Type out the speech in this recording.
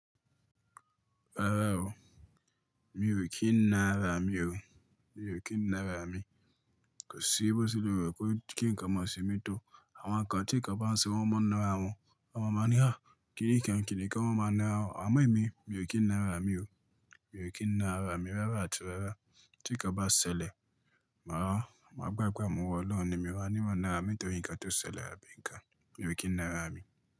Rárá o, mi ò kí ń nára mi o. Mi ò kí ń nára mi. Kò sí bó ti lè wẹ̀ kó kí ń ká mọ́ṣẹ́ mi tó. Àwọn kan tí kò bá ń ṣe wọ́n máa ń nára wọn. Wọn máa ń ní, "kí nìkan kí nìkan wọn máa ń nára wọn." Àmọ́ èmi, mi ò kí ń nára mi o. Mi ò kí ń nára mi rárá tí wẹ́rẹ́. Tí kò bá ṣẹlẹ̀, màá gbàgbá mu ọlọ́run ni mí wá níwọ́n nára mi tó nǹkan tó ṣẹlẹ̀ lábẹ́ nǹkan. Mi ò kí ń nára mi.